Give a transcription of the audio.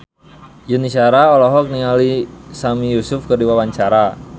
Yuni Shara olohok ningali Sami Yusuf keur diwawancara